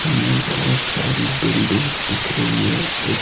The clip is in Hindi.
हमें बहोत सारी बिल्डिंग्स दिख रही है कु--